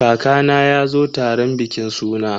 Kakana ya zo taron bikin suna.